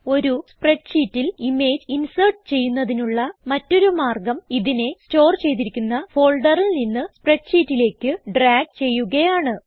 ഒരു സ്പ്രെഡ് ഷീറ്റിൽ image insert ചെയ്യുന്നതിനുള്ള മറ്റൊരു മാർഗം ഇതിനെ സ്റ്റോർ ചെയ്തിരിക്കുന്ന ഫോൾഡറിൽ നിന്ന് സ്പ്രെഡ് ഷീറ്റിലേക്ക് ഡ്രാഗ് ചെയ്യുകയാണ്